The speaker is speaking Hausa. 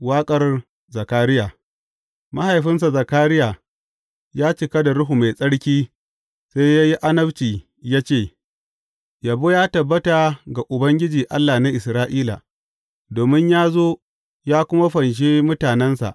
Waƙar Zakariya Mahaifinsa Zakariya ya cika da Ruhu Mai Tsarki sai ya yi annabci ya ce, Yabo ya tabbata ga Ubangiji, Allah na Isra’ila, domin ya zo ya kuma fanshe mutanensa.